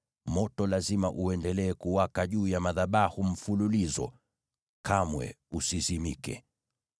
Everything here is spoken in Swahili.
Moto lazima uendelee kuwaka juu ya madhabahu mfululizo, kamwe usizimike.